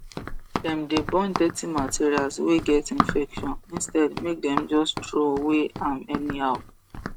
dem dey burn dirty materials wey get infection instead make dem just throway am anyhow